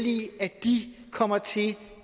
de kommer til